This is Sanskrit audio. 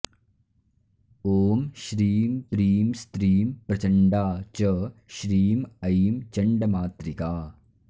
ॐ श्रीं प्रीं स्त्रीं प्रचण्डा च श्रीं ऐं चण्डमातृका